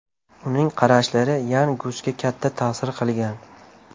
Uning qarashlari Yan Gusga katta ta’sir qilgan.